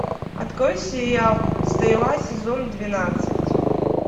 открой сериал стрела сезон двенадцать